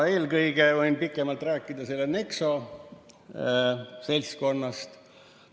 Eelkõige võin pikemalt rääkida Nexo seltskonnast.